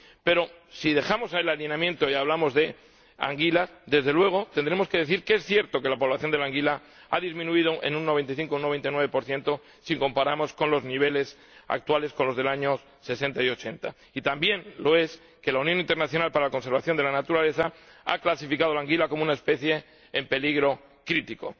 Pero si dejamos el alineamiento y hablamos de la anguila, desde luego tendremos que decir que es cierto que la población de anguila ha disminuido en un 95 o un 99 si comparamos los niveles actuales con los de los años 60 y 80. Y también lo es que la Unión Internacional para la Conservación de la Naturaleza ha clasificado la anguila como una especie en peligro crítico.